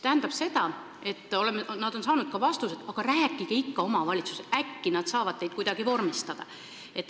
Nad on saanud ka selliseid vastuseid: rääkige ikka omavalitsusega, äkki nad saavad teid kuidagi vormistada.